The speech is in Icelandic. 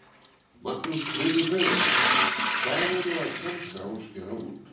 Magnús Hlynur Hreiðarsson: Hvað eru að tálga og skera út?